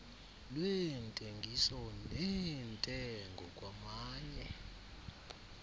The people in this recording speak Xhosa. lweentengiso neentengo kwamanye